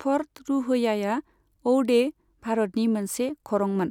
फ'र्ट रुहयाआ औडे, भारतनि मोनसे खरंमोन।